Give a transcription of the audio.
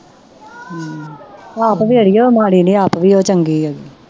ਆਪ ਵੀ ਅੜੀ ਉਹ ਮਾੜੀ ਨਹੀਂ ਆਪ ਉਹ ਵੀ ਚੰਗੀ ਹੈ